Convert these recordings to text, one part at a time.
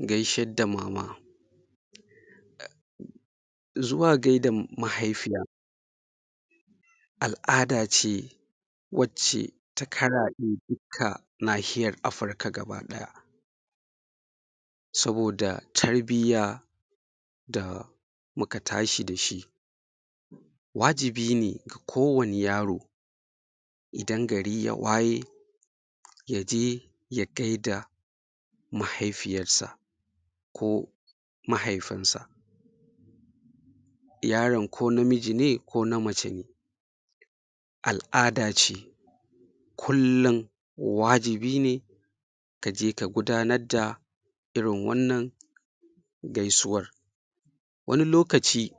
Gaished da mama zuwa gaida mahaifiya al'ada ce wacce ta karaɗe dukka nahiyar Afirka gabaɗaya saboda tarbiya da muka tashi da shi wajibi ne ga kowane yaro idan gari ya waye ya je ya gaida mahaifiyarsa ko mahaifinsa yaron ko namiji ne ko na mace ne al'ada ce kullum wajibi ne ka je ka gudanar da irin wannan gaisuwar wani lokaci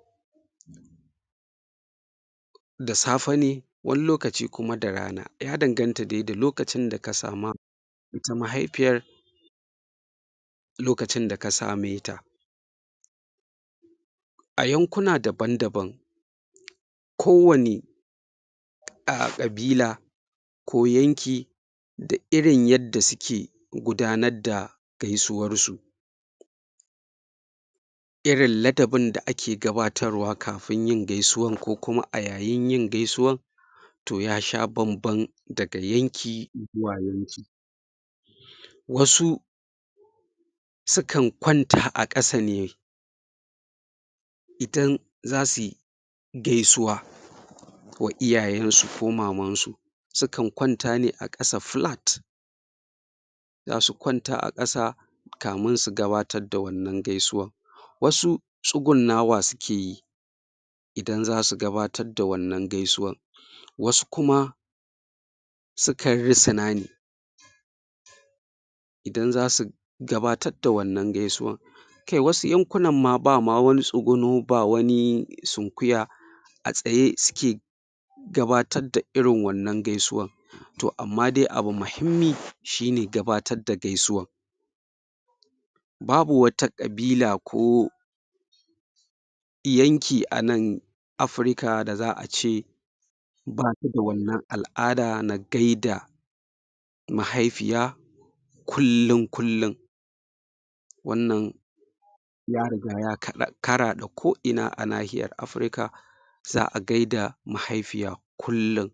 da safe ne wani lokaci kuma da rana ya danganta de da lokacin da ka sama ita mahaifiyar lokacin da ka same ta a yankuna daban-daban kowane a kabila ko yanki da irin yadda suke gudanar da gaisuwarsu irin ladabin da ake gabatarwa kafin yin gaisuwan ko kuma a yayin yin gaisuwan to ya sha bamban daga yanki izuwa yanki wasu su kan kwanta a kasa ne idan za su yi gaisuwa wa iyayensu ko mamansu su kan kwanta ne a ƙasa flat za su kwanta a ƙasa kamin su gabatar da wannna gaisuwa wasu tsungunnawa suke yi idan za su gabatarb da wannan gaisuwan wasu kuma su kan risa ne idan za su gabatar da wannan gaisuwan kai wasu yankunan ma ba ma wani tsuguno ba wani sunkuya a tsaye suke gabatar da irin wannan gaisuwan to amma de abu mahimmi shi ne gabatar da gaisuwan babu wata ƙabila ko yanki a nan Afirka da za a ce ba ta da wannan al'ada na gaida mahaifiya kullum-kullum wannan ya riga ya karaɗe ko'ina a nahiyar Afirka za a gaida mahaifiya kullum